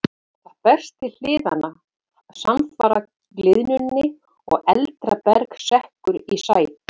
Það berst til hliðanna samfara gliðnuninni og eldra berg sekkur í sæ.